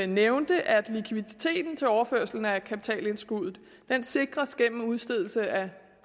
nævnte at likviditeten til overførsel af kapitalindskuddet sikres gennem udstedelse af